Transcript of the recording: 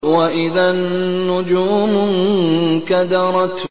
وَإِذَا النُّجُومُ انكَدَرَتْ